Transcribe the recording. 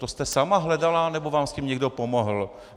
To jste sama hledala, nebo vám s tím někdo pomohl?